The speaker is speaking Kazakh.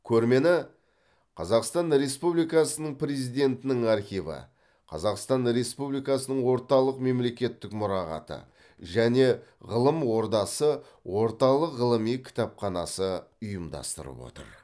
көрмені қазақстан республикасының президентінің архиві қазақстан республикасының орталық мемлекеттік мұрағаты және ғылым ордасы орталық ғылыми кітапханасы ұйымдастырып отыр